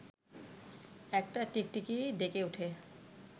একটা টিকটিকি ডেকে ওঠে